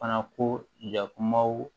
Fana ko yakumaw